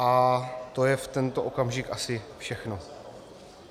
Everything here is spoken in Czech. A to je v tento okamžik asi všechno.